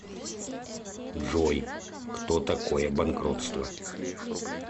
джой кто такое банкротство